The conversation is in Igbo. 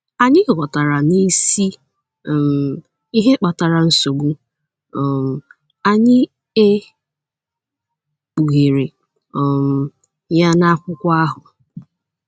Anyị ghọtara na isi um ihe kpatara nsogbu um anyị e kpughere um ya n’akwụkwọ ahụ.